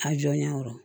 A jɔɲɔ kɔrɔ